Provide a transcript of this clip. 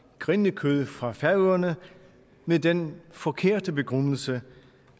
grindekød fra færøerne med den forkerte begrundelse